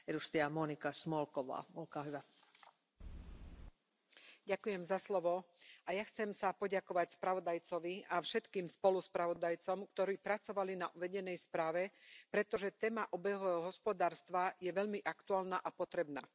Vážená pani predsedajúca, aj ja sa chcem poďakovať spravodajcovi a všetkým spoluspravodajcom, ktorí pracovali na uvedenej správe, pretože téma obehového hospodárstva je veľmi aktuálna a potrebná.